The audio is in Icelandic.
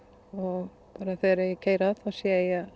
og þegar ég keyri að sé